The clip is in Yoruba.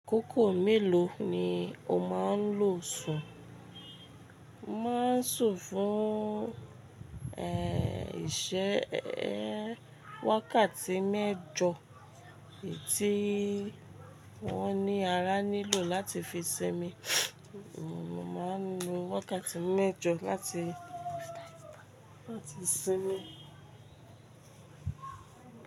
Kókò mélòó ni o máa ń lò sùn? Mo máa ń sùn fún, eh, iṣẹ́, eh, wákàtí mẹ́jọ ètí wọ́n ní ara nílò láti fi ṣinmi. Mo máa ń lo wákàtí mẹ́jọ láti, láti ṣinmi.